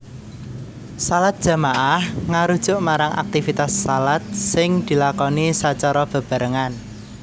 Shalat jamaah ngarujuk marang aktivitas shalat sing dilakoni sacara bebarengan